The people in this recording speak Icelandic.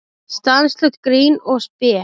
Stanslaust grín og spé.